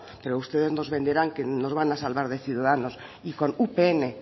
pero ustedes nos venderán que nos van a salvar de ciudadanos y con upn